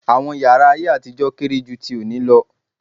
Àwọn yàrá ayé àtijọ́ kéré jú tí òní lọ.